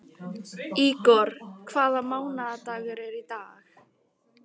Ígor, hvaða mánaðardagur er í dag?